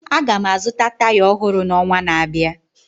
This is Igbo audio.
Aga m azụta taya ọhụrụ n'ọnwa na-abịa.